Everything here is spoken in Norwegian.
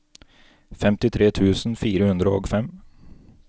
femtitre tusen fire hundre og fem